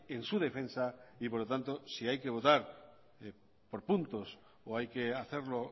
en su defensa y por lo tanto si hay que votar por puntos o hay que hacerlo